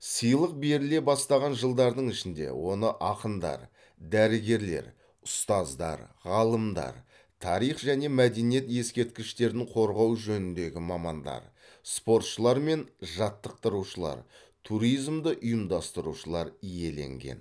сыйлық беріле бастаған жылдардың ішінде оны ақындар дәрігерлер ұстаздар ғалымдар тарих және мәдениет ескерткіштерін қорғау жөніндегі мамандар спортшылар мен жаттықтырушылар туризмді ұйымдастырушылар иеленген